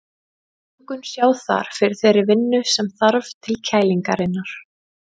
Lungun sjá þar fyrir þeirri vinnu sem þarf til kælingarinnar.